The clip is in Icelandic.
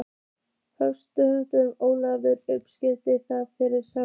Höskuldur: Ólafur, upplifið þið það sama?